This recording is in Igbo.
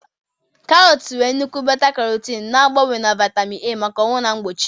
Karọt nwere nnukwu beta-carotene, na-agbanwe na vitamin A maka ọhụụ na mgbochi.